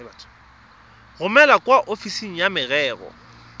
romele kwa ofising ya merero